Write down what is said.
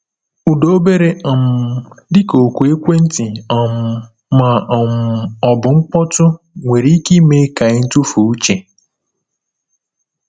Ụda obere um — dịka oku ekwentị um ma um ọ bụ mkpọtụ nwere ike ime ka anyị tufuo uche.